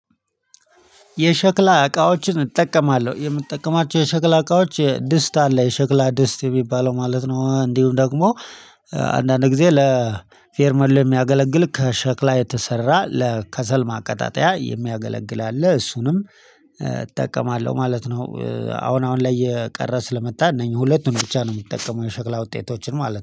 የሸክላ እቃዎችን እጠቀማለሁ የምጠቀማቸው የሸክላ እቃዎች ድስት አለ የሸክላ ድስት የሚባለው ማለት ነው እንዲሁም ደግሞ አንዳንድ ጊዜ ለፌርማ የሚያገለግል ከሸክላ የተሰራ ለከሰል ማቀጣጠያ የሚያገለግል አለ እሱንም እጠቀማለሁ ማለት ነው። አሁን ላይ የቀረ ስለመጣ እነኚህ ሁለቱን ብቻ ነው የምትጠቀመው የሸክላ ውጤቶችን ማለት ነው